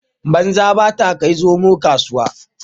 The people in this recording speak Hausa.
Banza ba ta kai zomo kasuwa